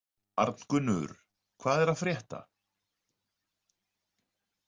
Arngunnur, hvað er að frétta?